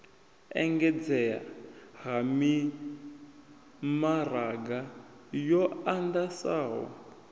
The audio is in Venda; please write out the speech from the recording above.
engedzea ha mimaraga yo andesaho